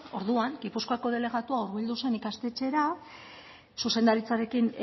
orduan gipuzkoako delegatua hurbildu zen ikastetxera zuzendaritzarekin